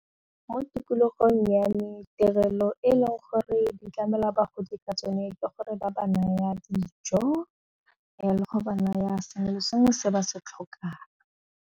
Mo tikologong ya me tirelo e leng gore di tlamela bagodi ka tsone ke gore ba ba nnyaa dijo le go ba naya sengwe le sengwe se ba se tlhokang.